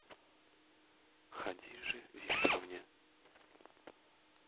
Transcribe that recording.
хадиже викторовне